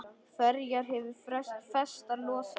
Ferjan hefur festar losað.